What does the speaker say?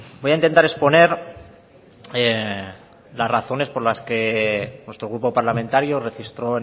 voy a intentar exponer las razones por las que nuestro grupo parlamentario registró